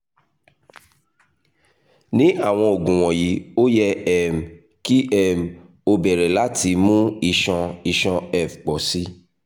ni awọn oogun wọnyi o yẹ um ki um o bẹrẹ lati mu iṣan iṣan (ef) pọ si